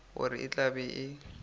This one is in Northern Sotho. gore e tla be e